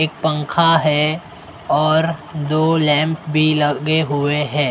एक पंखा है और दो लैंप भी लगे हुए हैं।